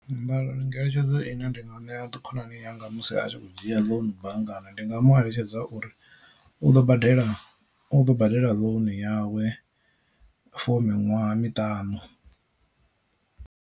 Ngeletshedzo ine ndi nga ṋea khonani yanga musi a tshi kho dzhia ḽounu banngani ndi nga mu eletshedza uri u ḓo badela u ḓo badela loan yawe for miṅwaha miṱanu.